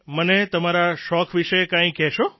મને તમારા શોખ વિષે કંઇક કહેશો